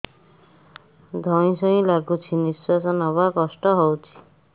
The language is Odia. ଧଇଁ ସଇଁ ଲାଗୁଛି ନିଃଶ୍ୱାସ ନବା କଷ୍ଟ ହଉଚି